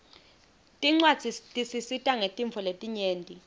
tincwadzi tisisita ngetintfo letinyenti